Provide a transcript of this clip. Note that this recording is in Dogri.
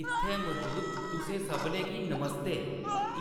इत्थै मजूद तुसें सभनें गी नमस्ते।